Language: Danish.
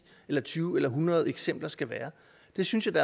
eller tyve eller hundrede eksempler skal være jeg synes at det